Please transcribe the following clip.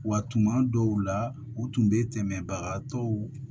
Wa tuma dɔw la u tun bɛ tɛmɛbagatɔw